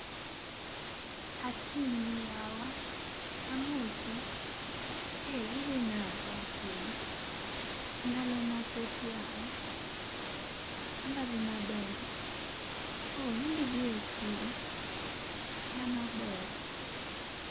Akinyi yawa, amosi. ee idhi nade Akinyi. ndalo mathoth yawa, ambadhi maber. oo imbi biro e chiro? mano ber.